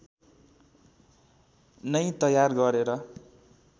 नै तयार गरेर